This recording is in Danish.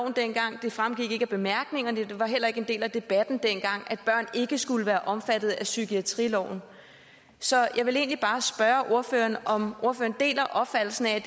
dengang det fremgik ikke af bemærkningerne og det var heller ikke en del af debatten dengang at børn ikke skulle være omfattet af psykiatriloven så jeg vil egentlig bare spørge ordføreren om ordføreren deler opfattelsen af at